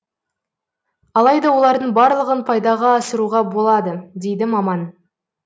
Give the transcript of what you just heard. алайда олардың барлығын пайдаға асыруға болады дейді маман